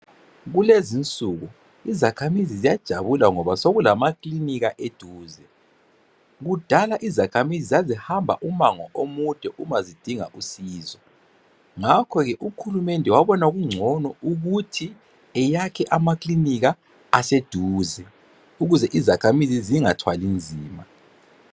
Kulezinsuku izakhamizi ziyajabula ngoba sokulamakilinika eduze kudala izakhamizi zazihamba umango omude uma zidinga usizo ngakho ke uhulumende wabona kungcono ukuthi eyakhe amakilinika aseduze ukuze izakhamizi zingathwali nzima.